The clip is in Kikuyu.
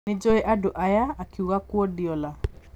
Nĩnjũĩ andũ aya’’ akiuga Kuardiola